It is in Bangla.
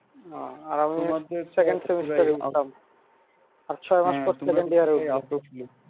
আর আমি second semester এ উঠলাম আর ছয় মাস পরে এ second year এ উঠবো।